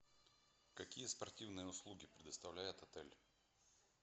какие спортивные услуги предоставляет отель